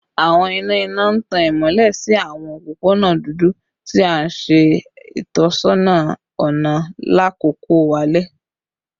Awọn ina ina n tan imọlẹ si awọn opopona dudu, ti n ṣe itọsọna ọna lakoko alẹ